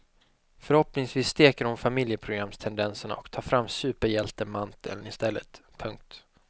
Förhoppningsvis steker hon familjeprogramstendenserna och tar fram superhjältemanteln istället. punkt